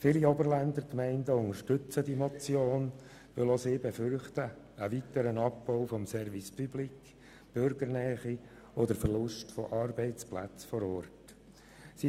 Viele Oberländer Gemeinden unterstützen die Motion, weil auch sie einen weiteren Abbau des Service public, der Bürgernähe und des Abbaus von Arbeitsplätzen vor Ort befürchten.